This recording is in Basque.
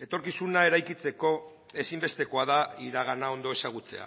etorkizuna eraikitzeko ezinbestekoa da iragana ondo ezagutzea